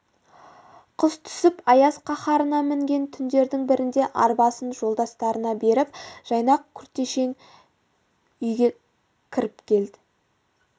қыс түсіп аяз қаһарына мінген түндердің бірінде арбасын жолдастарына беріп жайнақ күртешең үйге кіріп келді